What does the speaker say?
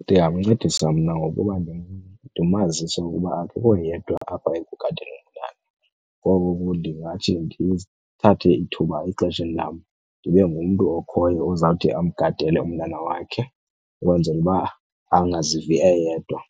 Ndingamncedisa mna ngokuba ndimazise ukuba akekho yedwa apha ekugadeni umntana. Ngoko ke ndingathi ndithathe ithuba exesheni lam ndibe ngumntu okhoyo ozawuthi amgadele umntana wakhe ukwenzela uba angazivi eyedwa.